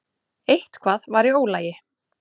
Eitthvað var í ólagi.